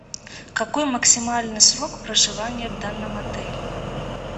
какой максимальный срок проживания в данном отеле